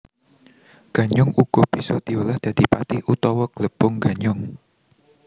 Ganyong uga bisa diolah dadi pati utawa glepung ganyong